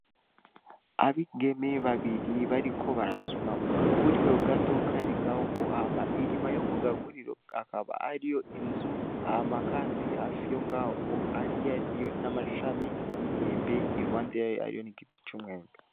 Abigeme babiri bariko barasuma ku gaguriro gato kari ngaho ohama inyuma yo ku gaguriro akaba ariyo inzu hama, kandi hafi yo ngaho oaliariyo n'amasami y'imyembe i luhande yaro ariyo n'igiti c'umwembe.